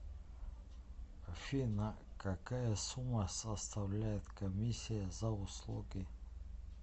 афина какая сумма составляет комиссия за услуги